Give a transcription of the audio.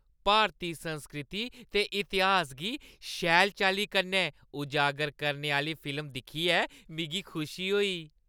भारती संस्कृति ते इतिहास गी शैल चाल्ली कन्नै उजागर करने आह्‌ली फिल्म दिक्खियै मिगी खुशी होई।